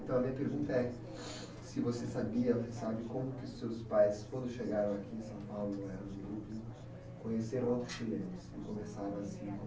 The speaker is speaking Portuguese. Então, a minha pergunta é, se você sabia, você sabe como que seus pais, quando chegaram aqui em São Paulo, moraram no Brooklyn, conheceram outros chilenos e começaram a se encon